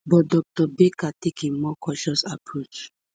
but dr baker take a a more cautious approach